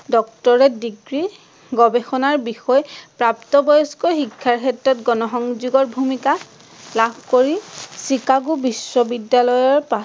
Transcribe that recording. doctorate degree গৱেষনাৰ বিষয় প্ৰাপ্ত বয়স্ক শিক্ষাৰ ক্ষেত্ৰত গনসংযোগৰ ভুমিকা, লাভ কৰি চিকাগো বিশ্ৱবিদ্যালয়ৰ পৰা